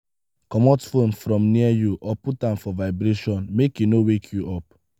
comot phone from near you or put am for vibration make e no wake you up